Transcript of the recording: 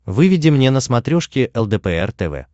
выведи мне на смотрешке лдпр тв